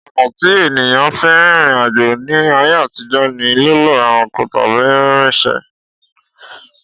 Ọ̀nà tí ènìyàn fi ń rìnrìn àjò ní ayé àtijó ni lílo ẹranko tàbí rínrrinṣẹ̀